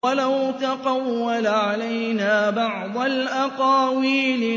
وَلَوْ تَقَوَّلَ عَلَيْنَا بَعْضَ الْأَقَاوِيلِ